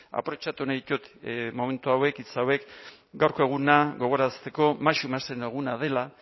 aprobetxatu nahi ditut momentu hauek hitz hauek gaurko eguna gogorarazteko eguna dela